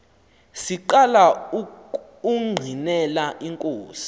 siqala ukungqinela inkosi